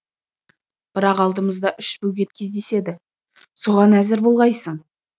бірақ алдымызда үш бөгет кездеседі соған әзір болғайсың